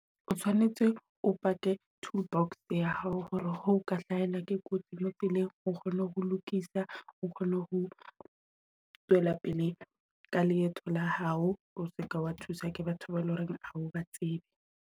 O tshwanetse o pake tool box ya hao hore ho ka hlahelwa ke kotsi mo tseleng o kgone ho lokisa, o kgone ho tswela pele ka leeto la hao. O seke wa thuswa ke batho bao eleng hore hao ba tsebe.